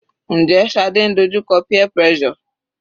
Njẹ́ Shade ń dojú kọ peer pressure?